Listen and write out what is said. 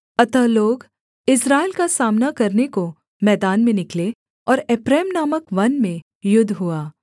अतः लोग इस्राएल का सामना करने को मैदान में निकले और एप्रैम नामक वन में युद्ध हुआ